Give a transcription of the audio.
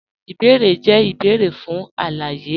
Ìbèérè jẹ̀ ìbèérè fún aláyé.